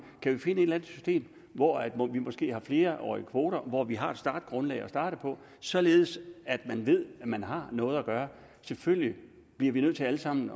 kan vi finde et system hvor vi måske har flerårige kvoter og hvor vi har et startgrundlag således at man ved at man har noget at gøre selvfølgelig bliver vi nødt til alle sammen